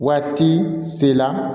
Waati sela